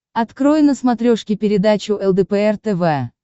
открой на смотрешке передачу лдпр тв